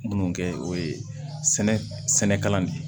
Minnu kɛ o ye sɛnɛkɛla de ye